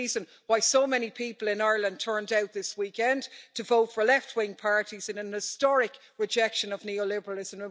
It's the reason why so many people in Ireland turned out this weekend to vote for left wing parties in an historic rejection of neoliberalism.